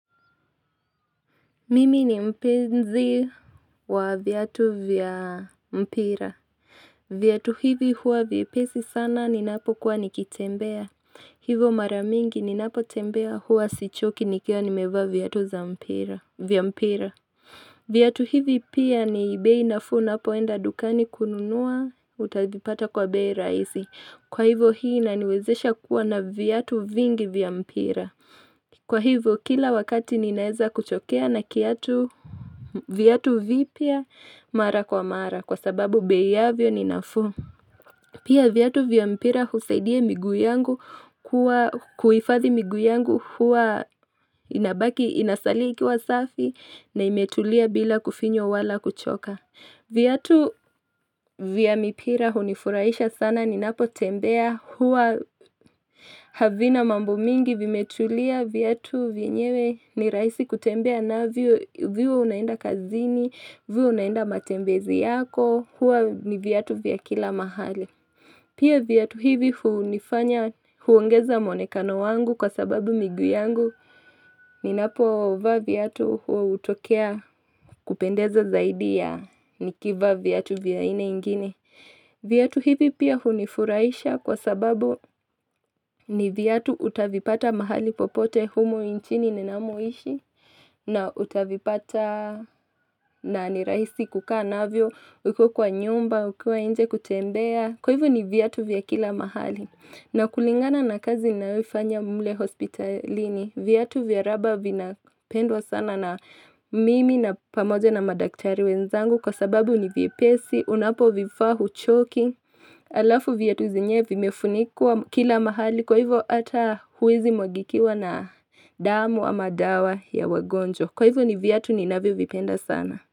Mimi ni mpenzi wa viatu vya mpira. Vyatu hivi huwa vye pesi sana ni napo kuwa nikitembea. Hivo maramingi ni napo tembea huwa sichoki nikiwa ni mevaa vyatu za mpira. Vyatu hivi pia ni bei nafuu una poenda dukani kununua utadipata kwa bei raisi. Kwa hivo hii ina niwezesha kuwa na vyatu vingi vya mpira. Kwa hivyo kila wakati ninaeza kuchokea na kiatu vyatu vipya mara kwa mara kwa sababu bei yavyo ninafuu. Pia vyatu vyampira husaidia miguu yangu kuifathi miguu yangu hua inasalia iki wa safi na imetulia bila kufinywa wala kuchoka. Vyatu vya mipira hunifuraisha sana ni napo tembea huwa havina mambo mingi vimetulia Vyatu vyenyewe ni raisi kutembea na vyo vyo unaenda kazini vyo unaenda matembezi yako Huwa ni vyatu vya kila mahali Pia vyatu hivi hu nifanya huongeza mwonekano wangu kwa sababu miguu yangu ni napo uvaa viatu huwa utokea kupendeza zaidi ya nikivaa viatu vya haina ingine Vyatu hivi pia hunifuraisha kwa sababu ni viatu utavipata mahali popote humo inchini ninamoishi na utavipata na ni rahisi kukaa na vyo ukiwa kwa nyumba ukiwa inje kutembea Kwa hivyo ni viatu vya kila mahali na kulingana na kazi ninayoifanya mle hospitalini, vyatu vyaraba vinapendwa sana na mimi na pamoja na madaktari wenzangu kwa sababu ni vyepesi, unapo vifaa hu choki, alafu vyatu zenyewe vimefunikwa kila mahali kwa hivyo ata huwezi mwagikiwa na damu ama dawa ya wagonjwa. Kwa hivyo ni vyatu ni navyo vipenda sana.